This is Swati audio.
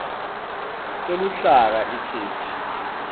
teluhlaka itheksthi